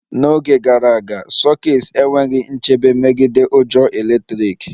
N'oge gara aga, sokets enweghị nchebe megide ujo eletrik